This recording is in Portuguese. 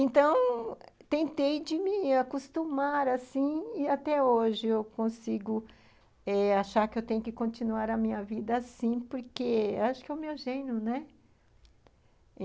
Então, tentei de me acostumar assim e até hoje eu consigo eh achar que eu tenho que continuar a minha vida assim porque acho que é o meu gênero, né?